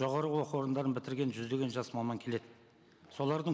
жоғарғы оқу орындарын бітірген жүздеген жас маман келеді солардың